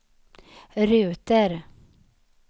ruter